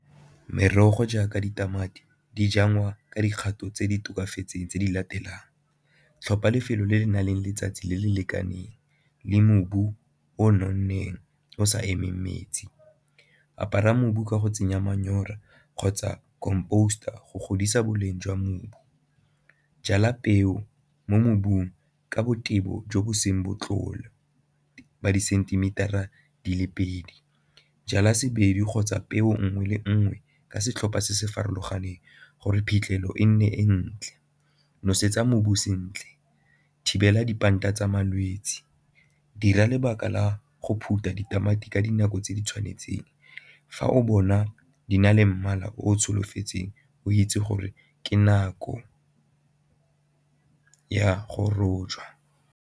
Merogo jaaka ditamati di jalwa ka dikgato tse di tokafatseng tse di latelang, tlhopha lefelo le le nang le letsatsi le le lekaneng le mobu o o nonneng o sa emeng metsi, apara mobu ka go tsenya manyora kgotsa compost-a go godisa boleng jwa mobu. Jala peo mo mobung ka boteng bo jo bo seng ba disentimitara di le pedi, jala kgotsa peo nngwe le nngwe ka setlhopha se se farologaneng gore phitlhelelo e nne e ntle, nosetsa mobu sentle, thibela tsa malwetse, dira lebaka la go phutha ditamati ka dinako tse di tshwanetseng. Fa o bona di na le mmala o o solofetsweng, o itse gore ke nako ya go rojwa.